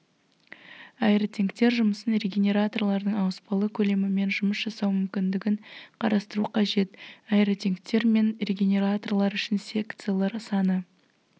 аэротенктер жұмысын регенераторлардың ауыспалы көлемімен жұмыс жасау мүмкіндігін қарастыру қажет аэротенктер мен регенераторлар үшін секциялар саны